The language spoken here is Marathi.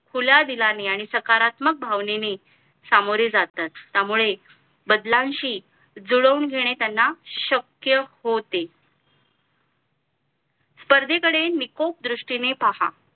खुल्या दिलाने आणि सकारात्मक भावनेने सामोरे जातात त्यामुळे बदलांशी जुळवून घेणे त्यांना शक्य होते स्पर्धे कडे निकोप दृष्टीने पहा